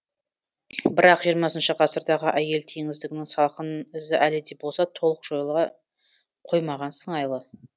бірақ жиырмасыншы ғасырдағы әйел теңсіздігінің салқын ізі әлі де болса толық жойыла қоймаған сыңайлы